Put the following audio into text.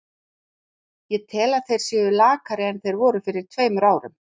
Ég tel að þeir séu lakari en þeir voru fyrir tveimur árum.